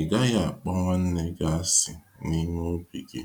ịgaghi akpọ nwanne gị àsị̀ n'ime obi gi.